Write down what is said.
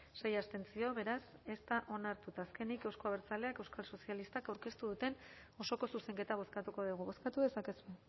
sei abstentzio beraz ez da onartu eta azkenik euzko abertzaleak euskal sozialistak aurkeztu duten osoko zuzenketa bozkatuko dugu bozkatu dezakegu